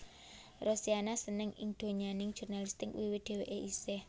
Rosiana seneng ing donyaning jurnalistik wiwit dhèwèké isih